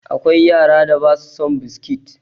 Akwai yaran da ba su son biskit.